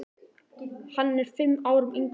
Hann er fimm árum yngri en hún.